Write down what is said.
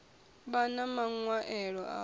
vhan a maṅwaelo aho u